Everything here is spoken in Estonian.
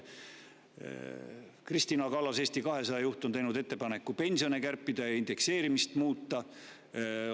Kristina Kallas, Eesti 200 juht, on teinud ettepaneku pensione kärpida ja indekseerimist muuta.